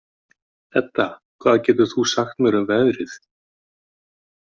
Edda, hvað geturðu sagt mér um veðrið?